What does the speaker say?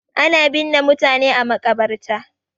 Ana binne mutane a maƙabarta.